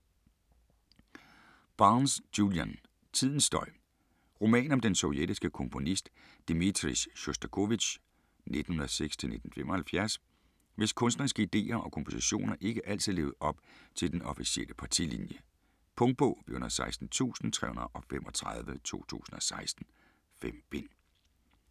Barnes, Julian: Tidens støj Roman om den sovjetiske komponist, Dmitrij Sjostakovitj (1906-1975), hvis kunstneriske ideer og kompositioner ikke altid levede op til den officielle partilinje. Punktbog 416335 2016. 5 bind.